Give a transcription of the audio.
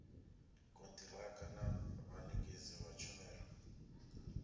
kontiraka na vhanekedzi vha tshumelo